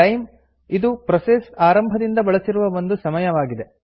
time ಇದು process ಆರಂಭದಿಂದ ಬಳಸಿರುವ ಒಟ್ಟು ಸಮಯವಾಗಿದೆ